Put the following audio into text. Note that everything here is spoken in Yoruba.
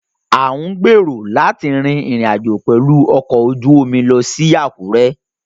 À ń gbèrò láti rin ìrìn àjò pẹ̀lú ọkọ̀ ojú omi lọ sí Àkúrẹ́